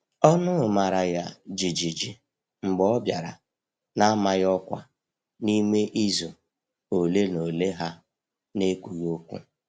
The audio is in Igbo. Ọnụ mara ya jijiji mgbe ọ bịara na-amaghị ọkwa n’ime izu ole na ole ha n'ekwughi okwu.